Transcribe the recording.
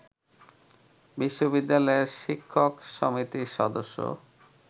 বিশ্ববিদ্যালয়ের শিক্ষক সমিতির সদস্য